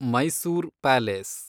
Mysore palace